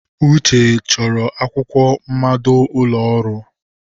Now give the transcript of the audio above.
Uche chọrọ akwụkwọ mmado ụlọ ọrụ.